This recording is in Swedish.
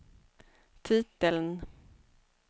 titeln